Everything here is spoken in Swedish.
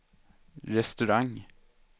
restaurang